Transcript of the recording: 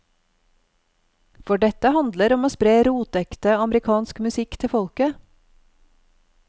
For dette handler om å spre rotekte, amerikansk musikk til folket.